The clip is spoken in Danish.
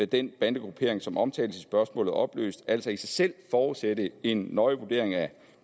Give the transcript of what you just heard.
den bandegruppering som omtales i spørgsmålet opløst altså i sig selv forudsætte en nøje vurdering af